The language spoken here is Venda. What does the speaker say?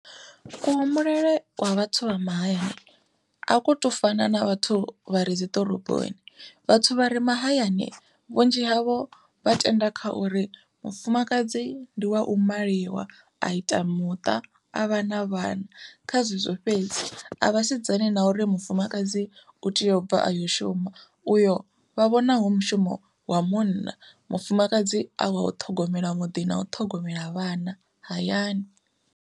Kuhumbulele kwa vhathu vha mahayani a kho to fana na vhathu vha re dziḓoroboni, vhathu vha re mahayani vhunzhi havho vha tenda kha uri mufumakadzi ndi wa u maliwa a ita muṱa a vha na vhana kha zwezwo fhedzi, a vhasedzani na uri mufumakadzi u tea u bva ayo shuma uyo vha vhona hu mushumo wa munna mufumakadzi a wa u ṱhogomela muḓi na u ṱhogomela vhana hayani.